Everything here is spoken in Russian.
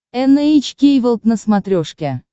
эн эйч кей волд на смотрешке